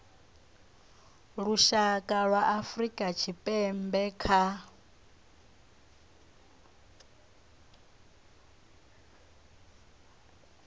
lushaka lwa afrika tshipembe kha